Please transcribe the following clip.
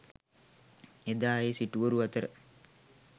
එදා ඒ සිටුවරු අතර